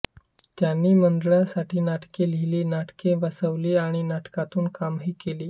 त्यांनी मंडळासाठी नाटके लिहिली नाटके बसवली आणि नाटकांतून कामंही केली